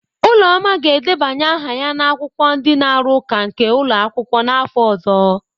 Uloma ga-edebanye aha ya na akwụkwọ ndi na-arụ ụka nke n'ụlọ akwụkwọ n'afọ ọzọ.